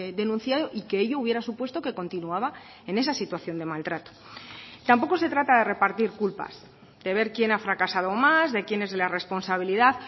denunciado y que ello hubiera supuesto que continuaba en esa situación de maltrato tampoco se trata de repartir culpas de ver quién ha fracasado más de quién es la responsabilidad